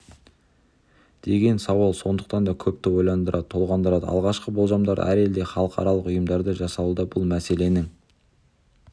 деген сауал сондықтан да көпті ойландырады толғандырады алғашқы болжамдар әр елде халықаралық ұйымдарда жасалуда бұл мәселенің